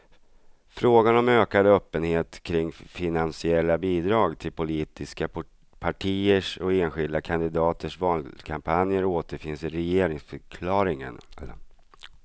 Frågan om ökad öppenhet kring finansiella bidrag till politiska partiers och enskilda kandidaters valkampanjer återfinns i regeringsförklaringen.